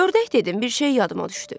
Ördək dedim, bir şey yadıma düşdü.